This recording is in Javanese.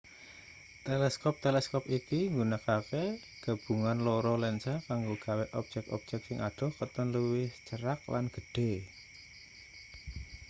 teleskop teleskop iki nggunakake gabungan loro lensa kanggo gawe objek-objek sing adoh katon luwih cerak lan gedhe